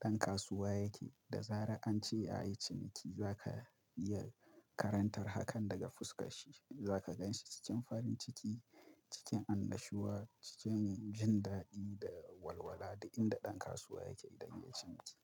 ɗan kasuwa yake, da zara'ance ya yi ciniki, za ka iya karantar hakan daga fuskarshi. Za ka ganshi cikin farin ciki, cikin annashuwa, cikin jin daɗi da walwala duk inda ɗan kasuwa yake idan ya yi ciniki.